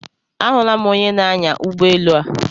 Ahụla m onyenaanya ụgbọelu a.